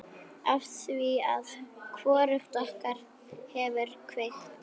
Afþvíað hvorugt okkar hefur kveikt.